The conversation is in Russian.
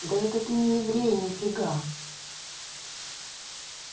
да это ты не еврей ни фига